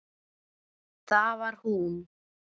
Það var hún.